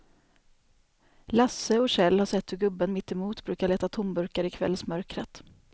Lasse och Kjell har sett hur gubben mittemot brukar leta tomburkar i kvällsmörkret.